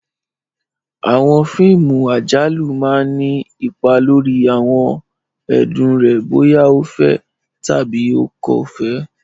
Àwọn fíìmù àjálù máa ni ipa lórí àwọn ẹ̀dùn rẹ bóyá o fẹ́ tàbí o kò fẹ́